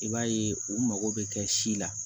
I b'a ye u mago bɛ kɛ si la